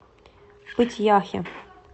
пыть яхе